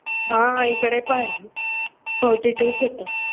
हां इकडे पण forty two च होतं.